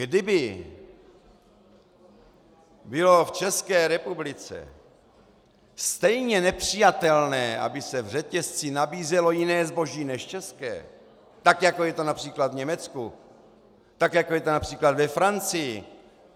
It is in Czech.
Kdyby bylo v České republice stejně nepřijatelné, aby se v řetězci nabízelo jiné zboží než české, tak jako je to například v Německu, tak jako je to například ve Francii.